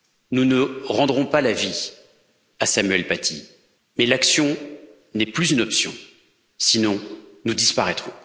Nous ne rendrons pas la vie à Samuel Paty, mais l'action n'est plus une option, sinon nous disparaîtrons.